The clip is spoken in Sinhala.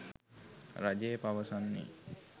රජය පවසන්නේ.